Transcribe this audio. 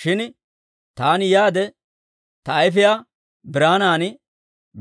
Shin taani yaade, ta ayfiyaa biraanan